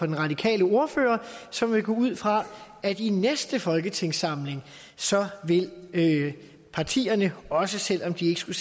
den radikale ordfører så må vi gå ud fra at i næste folketingssamling vil partierne også selv om de ikke skulle